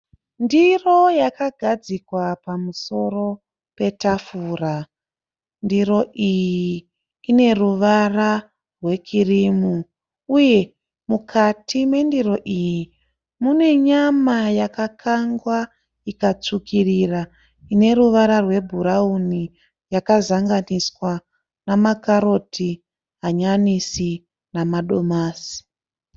Ndiro yakagadzikwa pamusoro petafura mukati mayo mune nyama yakakangwa ineruvara rwebhurawuni nemakaroti mukati.